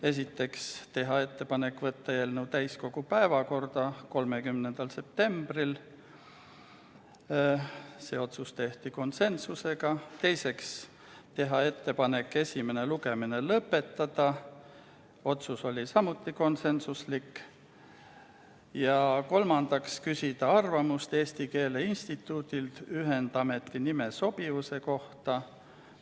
Esiteks, teha ettepanek võtta eelnõu täiskogu päevakorda 30. septembriks , teiseks, teha ettepanek esimene lugemine lõpetada ja kolmandaks küsida arvamust Eesti Keele Instituudilt ühendameti nime sobivuse kohta.